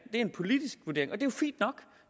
en politisk vurdering